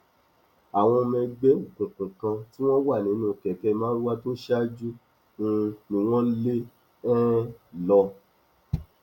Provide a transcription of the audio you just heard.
àwọn ọmọ ẹgbẹ òkùnkùn kan tí wọn wà nínú kẹkẹ marwa tó ṣáájú um ni wọn ń lé um lọ